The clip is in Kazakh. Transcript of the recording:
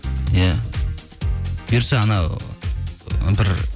иә бұйырса анау бір